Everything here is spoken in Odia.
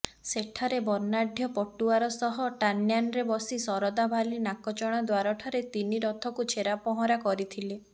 ସେଠାରେ ବର୍ଣ୍ଣାଢ଼୍ୟ ପଟୁଆର ସହ ଟାନ୍ୟାନରେ ବସି ଶରଧାବାଲି ନାକଚଣା ଦ୍ୱାରଠାରେ ତିନି ରଥକୁ ଛେରା ପହଁରା କରିଥିଲେ